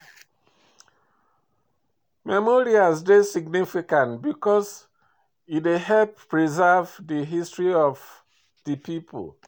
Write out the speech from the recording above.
Memorials dey significant because e dey help preserve di history of di pipo